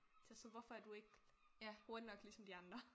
Testet hvorfor er du ikke hurtig nok ligesom de andre